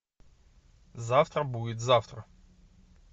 завтра будет завтра